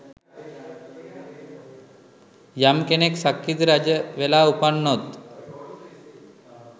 යම් කෙනෙක් සක්විති රජවෙලා උපන්නොත්